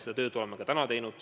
Seda tööd oleme täna ka teinud.